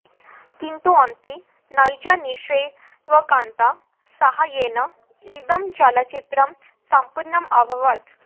किन्तु अन्ते नैजनिवेशकानां साहाय्येन इदं चलच्चित्रं सम्पूर्णम् अभवत्